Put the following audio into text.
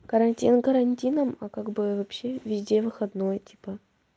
карантин карантином а как бы вообще везде выходной типа